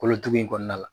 Kolotugu in kɔnɔna la